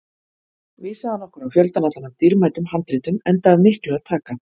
Vísaði hann okkur á fjöldann allan af dýrmætum handritum, enda af miklu að taka.